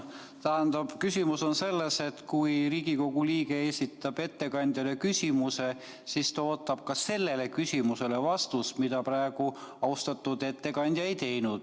Tähendab, küsimus on selles, et kui Riigikogu liige esitab ettekandjale küsimuse, siis ta ootab ka sellele küsimusele vastust, aga praegu austatud ettekandja ei vastanud.